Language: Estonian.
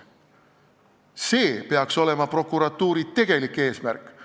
See peaks olema prokuratuuri tegelik eesmärk.